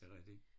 Er det rigtigt?